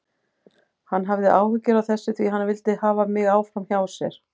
Hann hafði áhyggjur af þessu því hann vildi hafa mig áfram hjá sér.